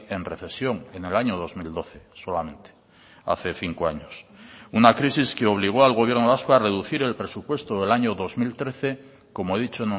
en recesión en el año dos mil doce solamente hace cinco años una crisis que obligó al gobierno vasco a reducir el presupuesto del año dos mil trece como he dicho